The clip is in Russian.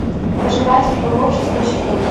пожиратель богов шестой сезон